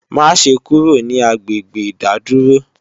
Maṣe kúrò ní agbègbè ìdádúró!